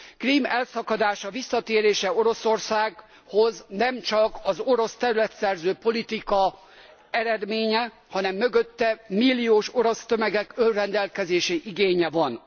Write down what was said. Krím elszakadása, visszatérése Oroszországhoz nemcsak az orosz területszerző politika eredménye, hanem mögötte milliós orosz tömegek önrendelkezési igénye van.